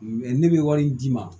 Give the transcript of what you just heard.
ne bɛ wari in d'i ma